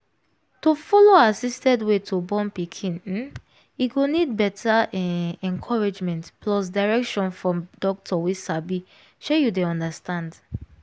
to follow assisted way to born pikin um e go need better um encouragement plus direction from doctor wey sabi shey you dey understand